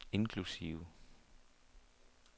inklusive